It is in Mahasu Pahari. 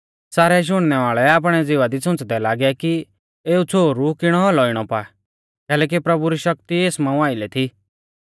सारै शुणनै वाल़ै आपणै ज़िवा दी सुंच़दै लागै कि एऊ छ़ोहरु किणौ औलौ इणौ पा कैलैकि प्रभु री शक्ति एस मांऊ आइलै थी